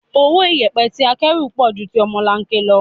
Owó iyẹpẹ tí akẹ́rù pọ̀ ju ti ọmọlanke lọ.